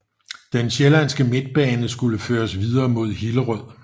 Den Sjællanske Midtbane skulle føres videre mod Hillerød